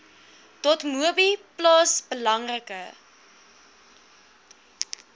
dotmobi plaas belangrike